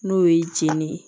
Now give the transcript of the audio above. N'o ye jenini ye